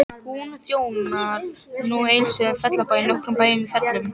Hún þjónar nú Egilsstöðum, Fellabæ og nokkrum bæjum í Fellum.